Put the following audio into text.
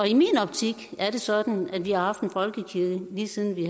i min optik er det sådan at vi har haft en folkekirke lige siden vi